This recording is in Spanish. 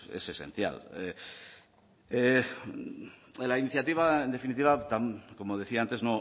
es esencial la iniciativa en definitiva como decía antes